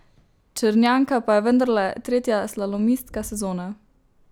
Črnjanka pa je vendarle tretja slalomistka sezone!